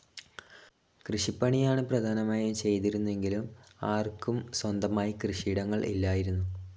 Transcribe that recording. കൃഷിപ്പണിയാണ് പ്രധാനമായും ചെയ്തിരുന്നതെങ്കിലും ആർക്കും സ്വന്തമായി കൃഷിയിടങ്ങൾ ഇല്ലായിരുന്നു.